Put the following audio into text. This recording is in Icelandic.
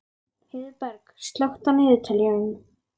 Heiðberg, slökktu á niðurteljaranum.